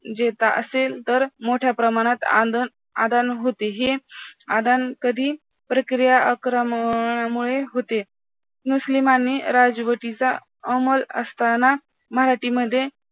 असेल तर मोठे प्रमाणात आंदन आदान होते हे आदान कधी प्रक्रियाक्रमणामुळे होते मुस्लिमांनी राजवटीचा आमल असताना मराठीमध्ये